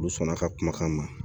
Olu sɔnn'a ka kumakan ma